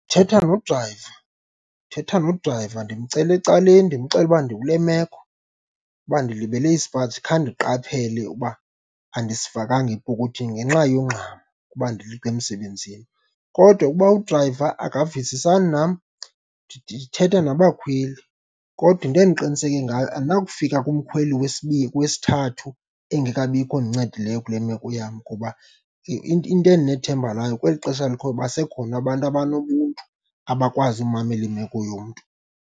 Thetha nodrayiva, thetha nodrayiva, ndimcela ecaleni ndimxelele uba ndikule meko, uba ndilibele isipaji khange ndiqaphele uba andisifakanga epokothweni ngenxa yongxama kuba ndileqa emsebenzini. Kodwa ukuba udrayiva akavisisani nam, ndithetha nabakhweli, kodwa into endiqiniseke ngayo andinakufika kumkhweli wesithathu engekabikho ondincedileyo kule meko yam ngoba into endinethemba layo kweli xesha likhoyo basekhona abantu abanobuntu abakwazi ukumamela imeko yomntu.